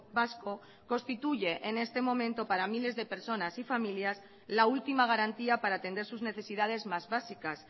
vasco constituye en este momento para miles de personas y familias la última garantía para atender sus necesidades más básicas